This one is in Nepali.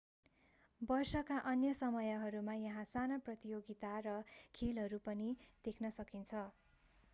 वर्षका अन्य समयहरूमा यहाँ साना प्रतियोगिता र खेलहरू पनि देख्न सकिन्छ